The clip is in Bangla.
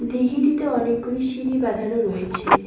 দিঘিটিতে অনেকগুলি সিঁড়ি বাঁধানো রয়েছে।